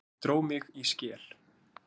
Ég dró mig í skel.